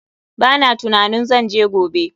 Ba na tunanin zan je gobe.